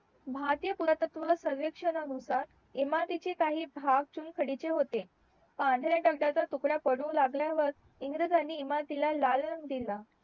भारतीय पुरातत्व सर्वेक्षना नुसार इमारतीचे काही भाग चुन खडीचे होते पांढरे दगडाचे तुकडा पडू लागल्या वर इंग्रजांनी इमारती ला लाल रंग दिला